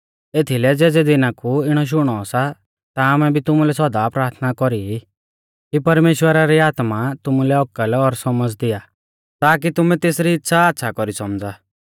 एथीलै ज़ेज़ै दिना कु इणौ शुणौ सा ता आमै भी तुमुलै सौदा प्राथना कौरी ई कि परमेश्‍वरा री आत्मा तुमुलै औकल और सौमझ़ दिया ताकी तुमै तेसरी इच़्छ़ा आच़्छ़ा कौरी सौमझ़ा